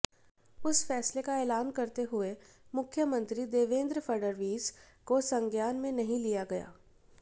उस फैसले का ऐलान करते हुए मुख्यमंत्री देवेन्द्र फडणवीस को संज्ञान में नहीं लिया गया